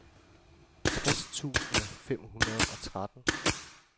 tres tusind fem hundrede og tretten